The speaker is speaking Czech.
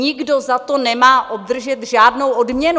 Nikdo za to nemá obdržet žádnou odměnu!